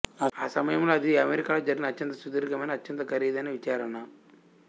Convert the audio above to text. ఆ సమయంలో అది అమెరికాలో జరిగిన అత్యంత సుదీర్ఘమైన అత్యంత ఖరీదైన విచారణ